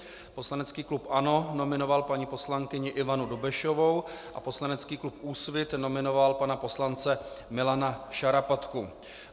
Poslanecký klub ANO nominoval paní poslankyni Ivanu Dobešovou a poslanecký klub Úsvit nominoval pana poslance Milana Šarapatku.